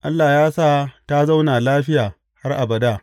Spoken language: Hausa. Allah ya sa ta zauna lafiya har abada.